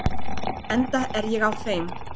Enda er ég á þeim